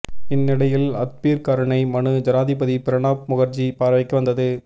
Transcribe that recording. இந்த நிலையில் அத்பீர் கருணை மனு ஜனாதிபதி பிரணாப் முகர்ஜி பார்வைக்கு வந்தது